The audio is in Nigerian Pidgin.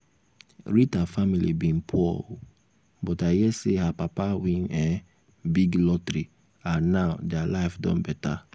rita family bin poor oo but i hear say her papa win um big um lottery and now dia life don better um